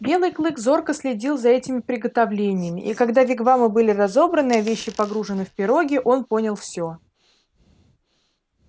белый клык зорко следил за этими приготовлениями и когда вигвамы были разобраны а вещи погружены в пироги он понял всё